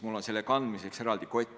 Mul on selle kandmiseks eraldi kott.